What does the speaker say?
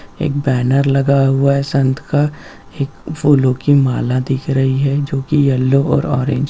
एक बैनर लगा हुआ है संत का एक फूलों की माला दिख रही है जो की येलो और ऑरेंज --